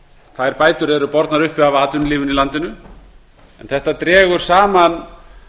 þær bætur eru bornar uppi af atvinnulífinu í landinu og þetta dregur saman